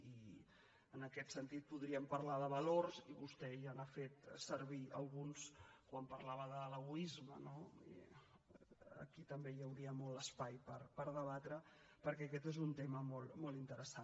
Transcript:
i en aquest sentit podríem parlar de valors i vostè ja n’ha fet servir alguns quan parlava de l’egoisme no i aquí també hi hauria molt espai per debatre perquè aquest és un tema molt interessant